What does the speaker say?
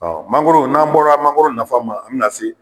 Mangoro n'an bɔra a mangoro nafa ma an bina se.